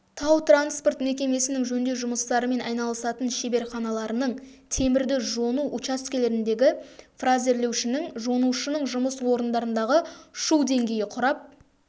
тау-транспорт мекемесінің жөндеу жұмыстарымен айналысатын шеберханаларының темірді жону учаскелеріндегі фрезерлеушінің жонушының жұмыс орындарындағы шу деңгейі құрап